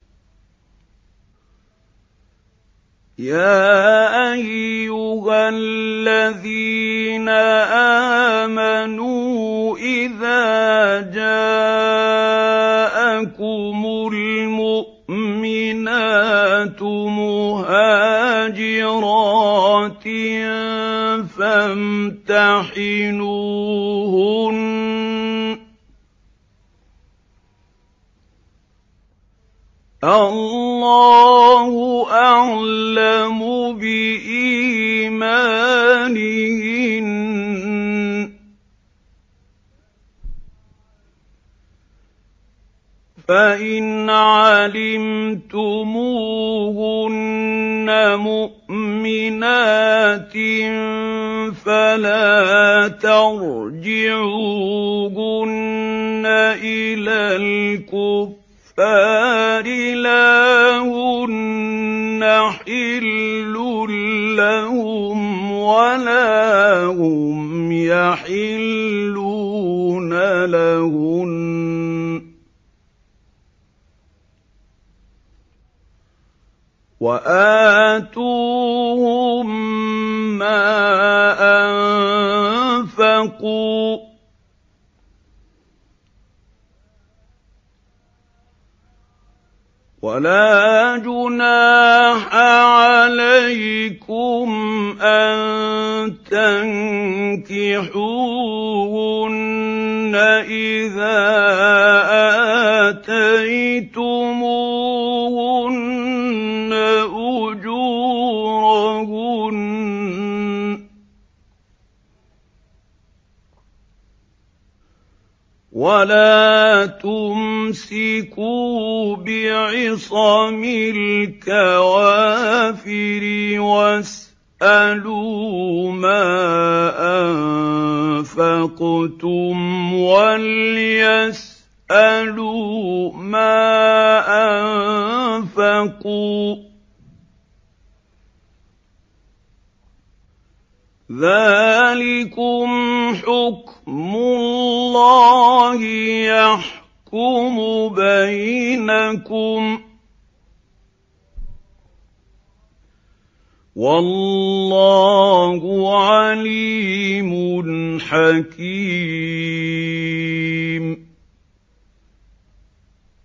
يَا أَيُّهَا الَّذِينَ آمَنُوا إِذَا جَاءَكُمُ الْمُؤْمِنَاتُ مُهَاجِرَاتٍ فَامْتَحِنُوهُنَّ ۖ اللَّهُ أَعْلَمُ بِإِيمَانِهِنَّ ۖ فَإِنْ عَلِمْتُمُوهُنَّ مُؤْمِنَاتٍ فَلَا تَرْجِعُوهُنَّ إِلَى الْكُفَّارِ ۖ لَا هُنَّ حِلٌّ لَّهُمْ وَلَا هُمْ يَحِلُّونَ لَهُنَّ ۖ وَآتُوهُم مَّا أَنفَقُوا ۚ وَلَا جُنَاحَ عَلَيْكُمْ أَن تَنكِحُوهُنَّ إِذَا آتَيْتُمُوهُنَّ أُجُورَهُنَّ ۚ وَلَا تُمْسِكُوا بِعِصَمِ الْكَوَافِرِ وَاسْأَلُوا مَا أَنفَقْتُمْ وَلْيَسْأَلُوا مَا أَنفَقُوا ۚ ذَٰلِكُمْ حُكْمُ اللَّهِ ۖ يَحْكُمُ بَيْنَكُمْ ۚ وَاللَّهُ عَلِيمٌ حَكِيمٌ